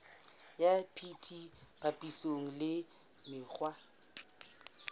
ya bt papisong le mekgwa